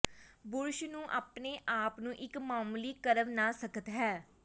brush ਨੂੰ ਆਪਣੇ ਆਪ ਨੂੰ ਇੱਕ ਮਾਮੂਲੀ ਕਰਵ ਨਾਲ ਸਖ਼ਤ ਹੈ